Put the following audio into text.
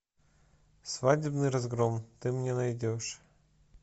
свадебный разгром ты мне найдешь